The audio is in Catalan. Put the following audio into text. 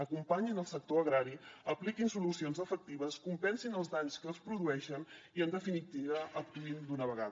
acompanyin el sector agrari apliquin solucions efectives compensin els danys que es produeixen i en definitiva actuïn d’una vegada